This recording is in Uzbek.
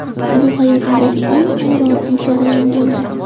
Bu hayotimdagi eng g‘ayrioddiy jarayon bo‘ldi.